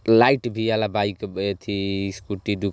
light वी वाला bike येथी स्कूटी --